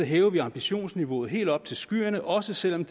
hæver vi ambitionsniveauet helt op til skyerne også selv om